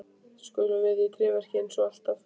Skutum við í tréverkið eins og alltaf?